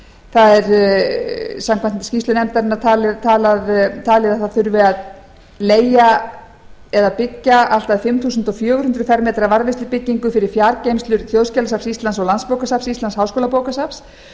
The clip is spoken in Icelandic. það er samkvæmt skýrslu nefndarinnar talið að það þurfi að leigja eða byggja allt að fimm þúsund fjögur hundruð fermetra varðveislubyggingu fyrir fjargeymslur þjóðskjalasafns íslands og landsbókasafns íslands háskólabókasafn